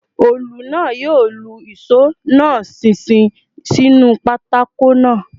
Òòlù náà yóò lu ìṣó náà ṣinṣin sínú pákó náà